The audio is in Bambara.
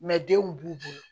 denw b'u bolo